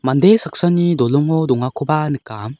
mande saksani dolongo dongakoba nika.